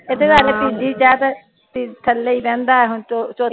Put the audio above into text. ਇਥੇ ਤਾ lkg ਥੱਲੇ ਈ ਰਹਿੰਦਾ ਹੁਣ ਤੋਂ